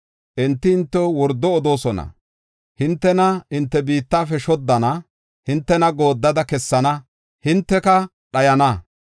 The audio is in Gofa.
Enti hintew wordo odoosona; hintena hinte biittafe shoddana; hintena gooddada kessana; hinteka dhayana.